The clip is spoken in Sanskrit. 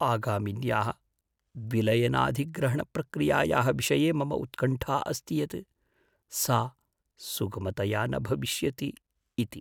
आगामिन्याः विलयनाधिग्रहणप्रक्रियायाः विषये मम उत्कण्ठा अस्ति यत् सा सुगमतया न भविष्यति इति।